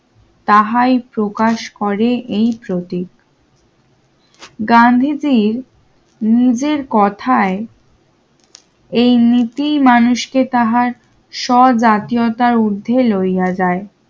তাহাই প্রকাশ করে এই প্রতীক গান্ধীজীর নিজের কথায় এই নীতি মানুষকে তাহার স্বজাতীয়তার উর্ধ্বে লইয়া যায়